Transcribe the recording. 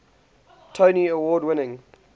tony award winning